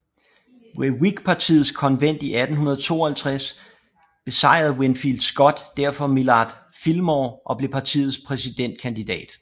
Ved Whigpartiets konvent i 1852 besejrede Winfield Scott derfor Millard Fillmore og blev partiets præsidentkandidat